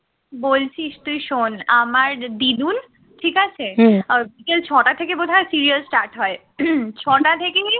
বলছিস তুই শোন আমার দিদুন ঠিক আছে ছটা থেকে বোধহয় সিরিয়াল start হয় ছটা থেকে নিয়ে